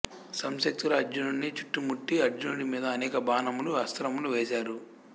సంశక్తులు అర్జునుడిని చుట్టుముట్టి అర్జునుడి మీద అనేక బాణములు అస్త్రములు వేసారు